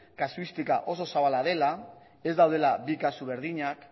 kasuistika oso zabala dela ez daudela bi kasu berdinak